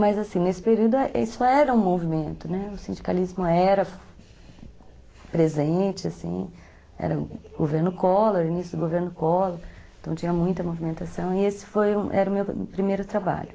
Mas, assim, nesse período isso era um movimento, o sindicalismo era presente, era o governo Collor, o início do governo Collor, então tinha muita movimentação e esse foi, era o meu primeiro trabalho.